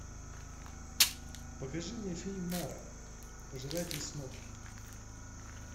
покажи мне фильм мара пожиратель снов